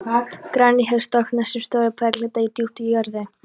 Granít hefur storknað sem stórir berghleifar djúpt í jörðu.